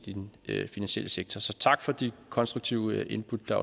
i den finansielle sektor så tak for de konstruktive input der